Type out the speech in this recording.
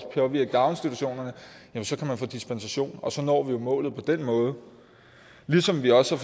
påvirke daginstitutionerne så kan man få dispensation og så når vi jo målet på den måde ligesom vi også